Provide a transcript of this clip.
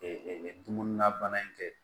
dumuni na bana in kɛ